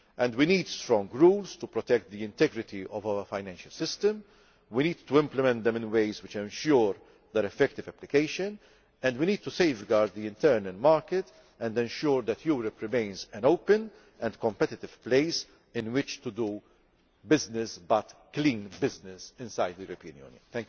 We need strong rules to protect the integrity of our financial system, we need to implement them in ways which ensure their effective application, and we need to safeguard the internal market and ensure that Europe remains an open and competitive place in which to do business but clean business inside the European Union.